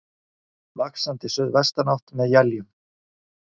Vaxandi suðvestanátt með éljum